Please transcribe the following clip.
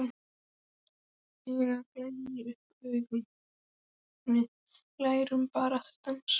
Lena glennir upp augun: En við ætlum bara að dansa.